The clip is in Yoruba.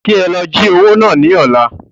Kí ẹ lọ jí owó náà ní ọ̀la